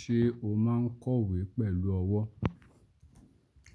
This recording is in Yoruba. Ṣé o máa n kọ̀wé pẹ̀lú ọwọ́?